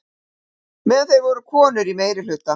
Meðal þeirra voru konur í meirihluta.